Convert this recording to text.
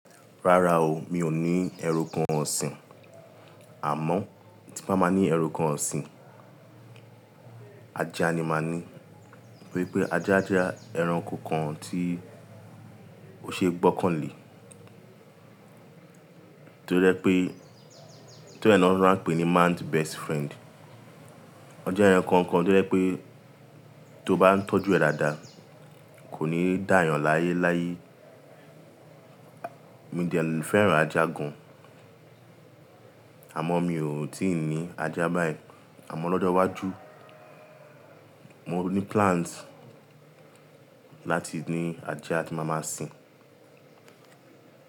Rárá o, mi ò ní ẹranko ọ̀sìn. Àmọ́ tí bá máa ní ẹranko ọ̀sìn, ajá ni máa ní. Nítorí pé ajá jẹ́ ẹranko kan tí ó ṣe é gbọ́kàn lé, toje pé tóri è ni won fi máa ń pè ní man's best friend. Ọje ẹranko kan tó jẹ pé tó bá ń tọ́jú ẹ̀ dáadáa kò ní dá eeyan láyéláyé. Mií de fẹ́ràn ajá gan, àmọ́ mi ò tíì ní ajá báyìí. Àmọ́ lọ́jọ́ iwájú mo ní plans láti ní ajá tí màá máa sin.